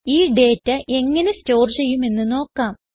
ഈ ഡേറ്റ എങ്ങനെ സ്റ്റോർ ചെയ്യുമെന്ന് നോക്കാം